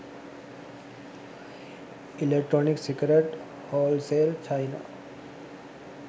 electronic cigarette wholesale china